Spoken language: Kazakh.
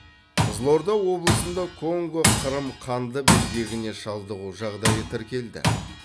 қызылорда облысында конго қырым қанды безгегіне шалдығу жағдайы тіркелді